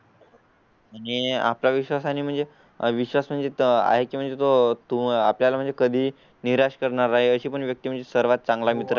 आणि आपला विश्वास आणि म्हणजे विश्वास जिथं आहे म्हणजे तो तुम्हाला म्हणजे कधी निराश करणार आहे अशी व्यक्ती म्हणजे सर्वात चांगला मित्र